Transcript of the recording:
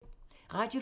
Radio 4